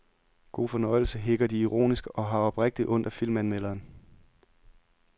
God fornøjelse hikker de ironisk og har oprigtigt ondt af filmanmelderen.